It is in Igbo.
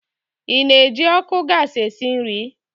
Ị na-eji ọkụ gasi esi nri?